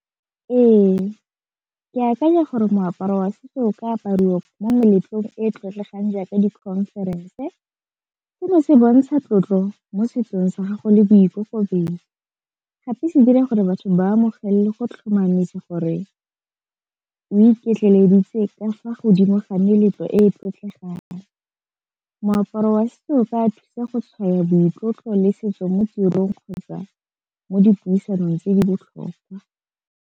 Ee, ke akanya gore moaparo wa setso o ka apariwa mo meletlong e e tlotlegang jaaka di-conference e seno se bontsha tlotlo mo setsong sa gago le boikokobetso, gape se dira gore batho ba amogele go tlhomamisa gore o iketleleditse ka fa godimo ga meletlo e e tlotlegang, moaparo wa setso o ka thusa go tshwaya boitlotlo le setso mo tirong kgotsa mo dipuisanong tse di botlhokwa.